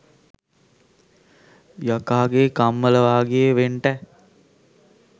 යකාගේ කම්මල වාගේ වෙන්ටැ